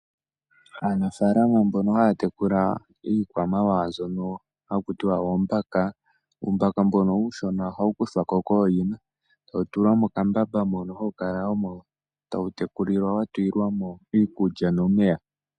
Aanafalama mbono haya tekula iikwamawawa mbyono haku tiwa oombaka , uumbaka mbono uushona ohawu kuthwako kooyina etawu tulwa mokambamba mono hawu kala omo tawu tekulilwa wa tu lilwamo iikulya nomeya.